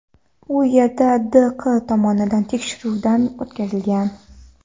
U yerda D. Q. tomonidan tekshiruvdan o‘tkazilgan.